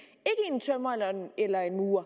en tømrer eller en murer